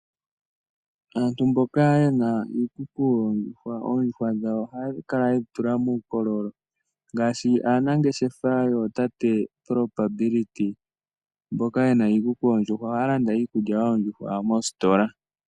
Aantu mboka ye na iikuku yoondjuhwa, oondjuhwa dhawo oha ya kala ye dhi tula muukololo ngaashi aanangeshefa yootate Probability mboka ye na iikuku yoondjuhwa oha ya landa iikulya yoondjuhwa moositola.